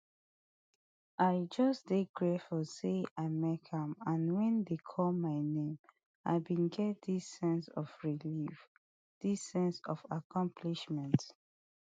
i just dey grateful say i make am and wen dem call my name i bin get dis sense of relief dis sense of accomplishment